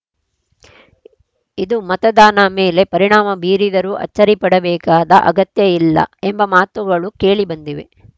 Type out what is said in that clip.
ಇದು ಮತದಾನ ಮೇಲೆ ಪರಿಣಾಮ ಬೀರಿದರೂ ಅಚ್ಚರಿ ಪಡಬೇಕಾದ ಅಗತ್ಯ ಇಲ್ಲ ಎಂಬ ಮಾತುಗಳು ಕೇಳಿ ಬಂದಿವೆ